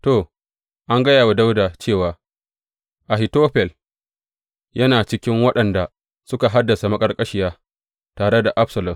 To, an gaya wa Dawuda cewa, Ahitofel yana cikin waɗanda suka hadasa maƙarƙashiya tare da Absalom.